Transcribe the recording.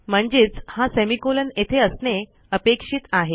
म्हणजेच हा सेमिकोलॉन येथे असणे अपेक्षित आहे